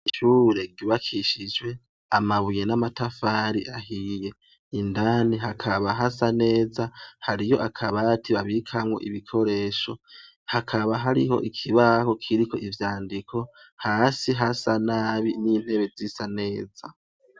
Ishure ryubakishijwe amabuye n'amatafari ahiye. Indani hakaba hasa neza, hariyo akabati babikamwo ibikoresho, hakaba hariho ikibaho kiriko ivyandiko. Hasi hasa nabi n'intebe zisa neza.